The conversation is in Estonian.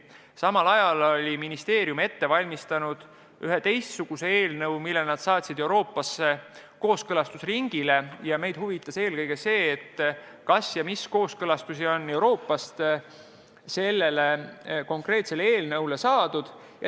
Samal ajal oli ministeerium ette valmistanud ühe teistsuguse eelnõu, mille nad saatsid Euroopasse kooskõlastusringile, ja meid huvitas, milliseid kooskõlastusi on Euroopast saadud.